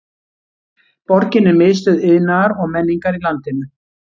Borgin er miðstöð iðnaðar og menningar í landinu.